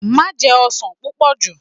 Maṣe jẹ ọsan pupọ ju!